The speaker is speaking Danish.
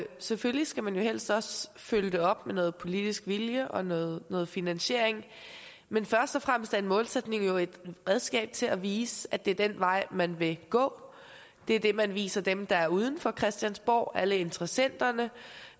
selvfølgelig skal man jo helst også følge det op med noget politisk vilje og noget noget finansiering men først og fremmest er en målsætning jo et redskab til at vise at det er den vej man vil gå det er det man viser dem der er uden for christiansborg altså alle interessenterne